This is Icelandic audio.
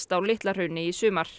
á Litla Hrauni í sumar